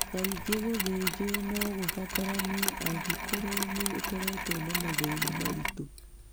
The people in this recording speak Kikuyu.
Kaingĩ, gũthĩnjwo no gũbataranie angĩkorũo nĩ ũkoretwo na mathĩna maritũ.